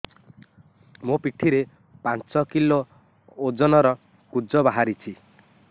ମୋ ପିଠି ରେ ପାଞ୍ଚ କିଲୋ ଓଜନ ର କୁଜ ବାହାରିଛି